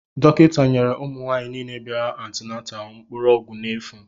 Dọkịta nyere ụmụ nwaanyị nile bịara antinataalu mkpụrụ ọgwụ n'efu.